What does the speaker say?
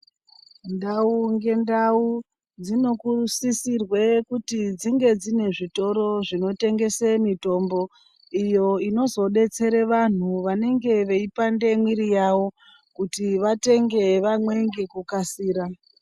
Ndau mgendau dziri kusisirwa kuti dzinge dzine zvitoro zvinotengeswa mitombo iyo inodetsera vanhu vanenge veipanda mwiri yawo Kuti vatenge vamwe nekukasira.